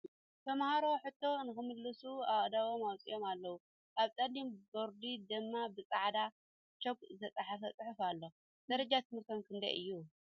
ተመሃሮ ሕቶ ንክምልሱ አእዳዎም ኣውፂኦም ኣለዉ ኣብ ፀሊም ቦርዲ ድማ ብ ፃዕዳ ቾክ ዝተፀሓፈ ፅሑፍ ኣሎ ። ደረጃ ትምህርቶም ክንደይ እዩ ?